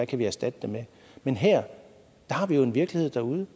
kan erstatte det med men her har vi jo en virkelighed derude